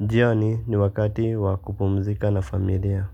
jioni ni wakati wa kupumzika na familia.